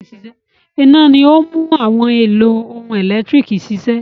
Iná ni ó ń mú àwọn ohun-èlò ẹ̀lẹ́tíríkì ṣiṣẹ́.